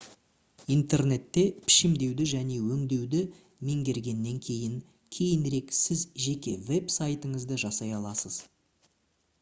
интернетте пішімдеуді және өңдеуді меңгергеннен кейін кейінірек сіз жеке веб-сайтыңызды жасай аласыз